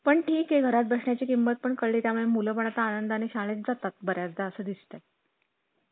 हम्म